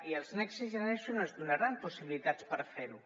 i els next generation ens donaran possibilitats de fer·ho